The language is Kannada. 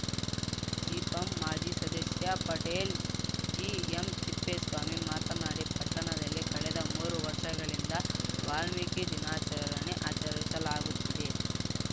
ಜಿಪಂ ಮಾಜಿ ಸದಸ್ಯ ಪಟೇಲ್‌ ಜಿಎಂತಿಪ್ಪೇಸ್ವಾಮಿ ಮಾತನಾಡಿ ಪಟ್ಟಣದಲ್ಲಿ ಕಳೆದ ಮೂರು ವರ್ಷಗಳಿಂದ ವಾಲ್ಮೀಕಿ ದಿನಾಚರಣೆ ಆಚರಿಸಲಾಗುತ್ತಿದೆ